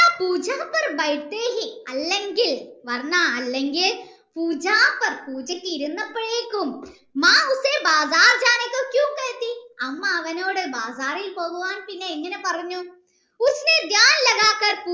അല്ലെങ്കിൽ അല്ലെങ്കിൽ പൂജക് ഇരന്നപ്പോഴേക്കും 'അമ്മ അവനോട് ബാഗാറിൽ പോകാൻ പിന്നെ എങ്ങനെ പറഞ്ഞു